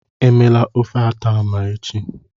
Emela ofe atama echi.